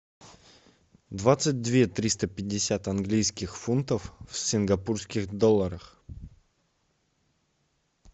двадцать две триста пятьдесят английских фунтов в сингапурских долларах